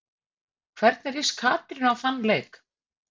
Hvernig líst Katrínu á þann leik?